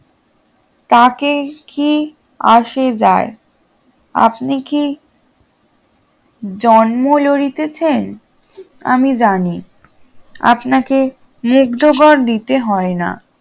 তাতে কি আসে যায় আপনি কি জন্ম লইতেছেন আমি জানি আপনাকে মুগ্ধকর দিতে হয়না